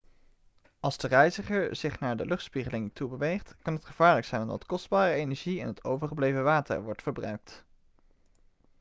als de reiziger zich naar de luchtspiegeling toe beweegt kan dit gevaarlijk zijn omdat kostbare energie en het overgebleven water wordt verbruikt